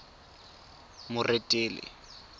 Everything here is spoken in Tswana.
moretele